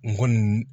N kɔni